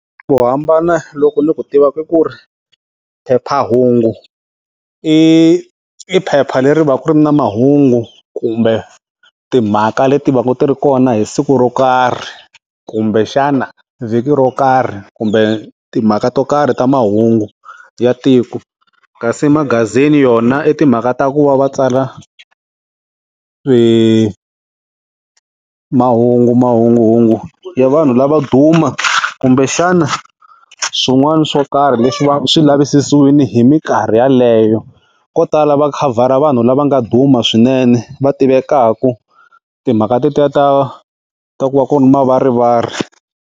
Vo hambana loku ni ku tivaka i ku ri phephahungu i i phepha leri va ka ri ri na mahungu kumbe timhaka leti va ka ti ri kona hi siku ro karhi kumbe xana vhiki ro karhi kumbe timhaka to karhi ta mahungu ya tiko kasi magazini yona i timhaka ta ku va va tsala mahungu mahunguhungu ya vanhu lavo duma kumbe xana swin'wana swo karhi leswi va swi lavisisiwini hi minkarhi yeleyo ko tala va khavhara vanhu lava nga duma swinene va tivekaka timhaka tetiya ta ta ku va ku ri mavarivari.